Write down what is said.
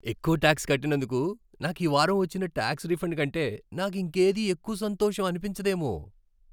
ఎక్కువ టాక్స్ కట్టినందుకు నాకు ఈ వారం వచ్చిన టాక్స్ రిఫండ్ కంటే నాకింకేదీ ఎక్కువ సంతోషం అనిపించదేమో.